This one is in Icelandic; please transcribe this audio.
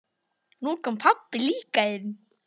Nú kom pabbi líka inn.